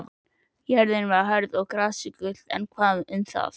Jörðin var hörð og grasið gult, en hvað um það.